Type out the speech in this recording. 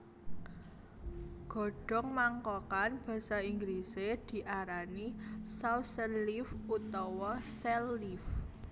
Godhong mangkokan basa Inggrisé diarani saucher leaf utawa sell leaf